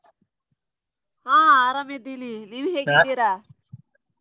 ಆ ಆರಾಮಿದ್ದಿನಿ ನೀವ್ ?